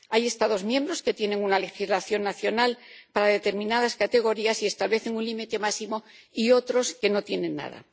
Hay Estados miembros que tienen una legislación nacional para determinadas categorías y establecen un límite máximo, y otros que no tienen nada.